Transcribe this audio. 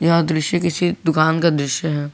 यह दृश्य किसी दुकान का दृश्य है।